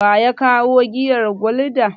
Wa ya kawo giyar Gulda?